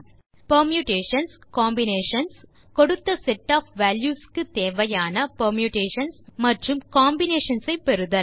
Permutations Combinations கொடுத்த set of values க்கு தேவையான பெர்முடேஷன் மற்றும் காம்பினேஷன்ஸ் ஐ பெறுதல்